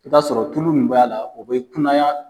I b'a sɔrɔ tulu min b'a la o bɛ kunanya.